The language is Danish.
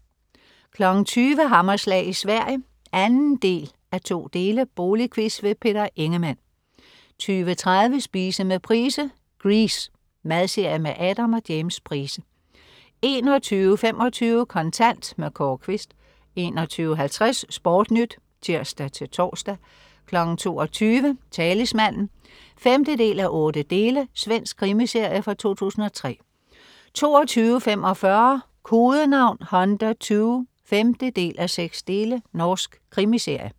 20.00 Hammerslag i Sverige 2:2. Boligquiz. Peter Ingemann 20.30 Spise med Price. Grease. Madserie med Adam og James Price 21.25 Kontant. Kåre Quist 21.50 SportNyt (tirs-tors) 22.00 Talismanen 5:8. Svensk krimiserie fra 2003 22.45 Kodenavn Hunter II 5:6. Norsk krimiserie